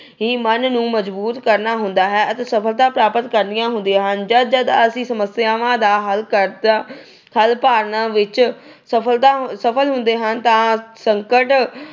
ਮਨ ਨੂੰ ਮਜਬੂਤ ਕਰਨਾ ਹੁੰਦਾ ਹੈ ਅਤੇ ਸਫਲਤਾ ਪ੍ਰਾਪਤ ਕਰਨੀਆਂ ਹੁੰਦੀਆਂ ਹਨ। ਜਦ ਜਦ ਅਸੀਂ ਸਮਸਿਆਵਾਂ ਦਾ ਹੱਲ ਕਰਦੇ ਅਹ ਹੱਲ ਭਾਲਣ ਵਿੱਚ ਸਫਲਤਾ ਅਹ ਸਫਲ ਹੁੰਦੇ ਹਾਂ ਤਾਂ ਸੰਕਟ